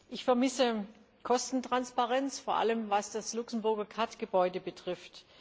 Ich vermisse Kostentransparenz, vor allem was das Luxemburger KAD Gebäude betrifft.